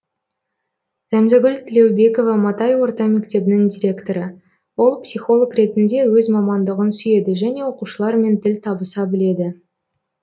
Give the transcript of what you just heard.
зәмзәгүл тілеубекова матай орта мектебінің директоры ол психолог ретінде өз мамандығын сүйеді және оқушылармен тіл табыса біледі